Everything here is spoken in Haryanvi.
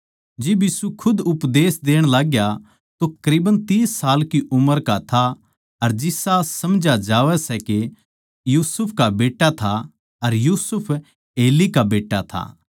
जिब यीशु खुद उपदेश देण लागग्या तो करीबन तीस साल की उम्र का था अर जिसा समझा जावै सै यीशु यूसुफ का बेट्टा था अर यूसुफ एली का बेट्टा था